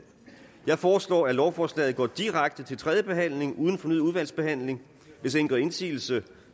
jeg foreslår at lovforslaget går direkte til tredje behandling uden fornyet udvalgsbehandling hvis ingen gør indsigelse